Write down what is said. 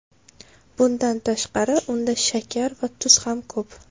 Bundan tashqari, unda shakar va tuz ham ko‘p.